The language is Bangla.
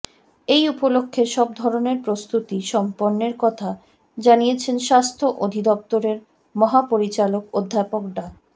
এ উপলক্ষে সব ধরনের প্রস্তুতি সম্পন্নের কথা জানিয়েছেন স্বাস্থ্য অধিদপ্তরের মহাপরিচালক অধ্যাপক ডা